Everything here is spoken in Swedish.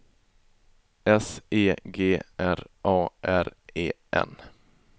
S E G R A R E N